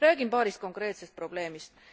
Räägin paarist konkreetsest probleemist.